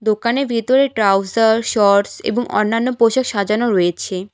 দোকানের ভিতরে trouser shorts এবং অন্যান্য পোশাক সাজানো রয়েছে।